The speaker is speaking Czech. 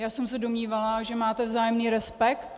Já jsem se domnívala, že máte vzájemný respekt.